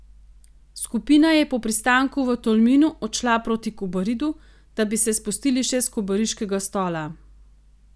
Skupina je po pristanku v Tolminu odšla proti Kobaridu, da bi se spustili še s kobariškega Stola.